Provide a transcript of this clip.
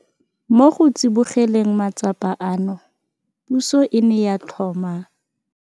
Mo go tsibogeleng matsapa ano, puso e ne ya tlhoma.